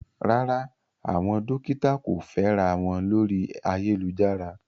Rárá, àwọn dókítà kò fẹ́ra wọn lórí ayélujára.